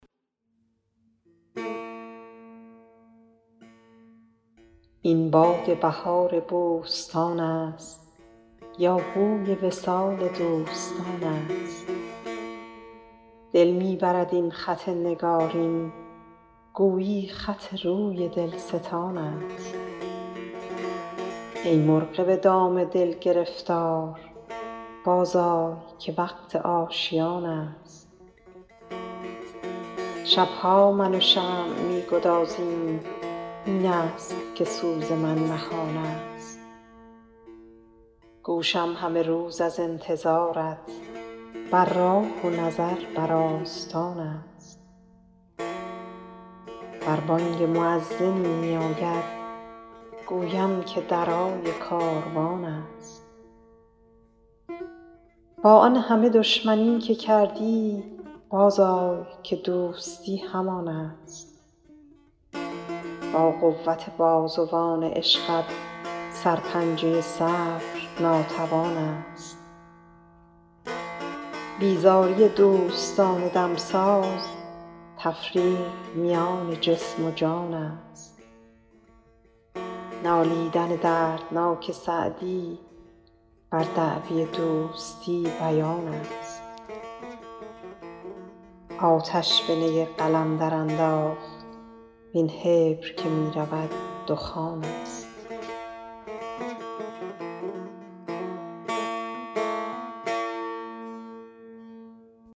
این باد بهار بوستان است یا بوی وصال دوستان است دل می برد این خط نگارین گویی خط روی دلستان است ای مرغ به دام دل گرفتار بازآی که وقت آشیان است شب ها من و شمع می گدازیم این است که سوز من نهان است گوشم همه روز از انتظارت بر راه و نظر بر آستان است ور بانگ مؤذنی میاید گویم که درای کاروان است با آن همه دشمنی که کردی بازآی که دوستی همان است با قوت بازوان عشقت سرپنجه صبر ناتوان است بیزاری دوستان دمساز تفریق میان جسم و جان است نالیدن دردناک سعدی بر دعوی دوستی بیان است آتش به نی قلم درانداخت وین حبر که می رود دخان است